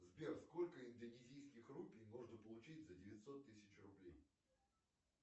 сбер сколько индонезийских рупий можно получить за девятьсот тысяч рублей